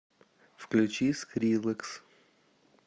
включи скриллекс